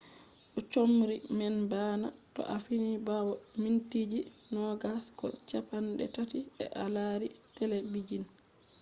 do chomri man bana to a fini bawo mintiji nogas ko ceppan tati se a lari telebijin